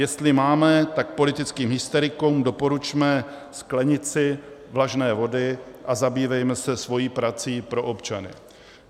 Jestli máme, tak politickým hysterikům doporučme sklenici vlažné vody a zabývejme se svou prací pro občany.